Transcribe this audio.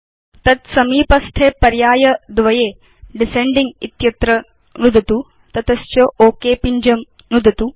तत् समीपस्थे पर्याय द्वये डिसेंडिंग इत्यत्र नुदतु तत च ओक पिञ्जं नुदतु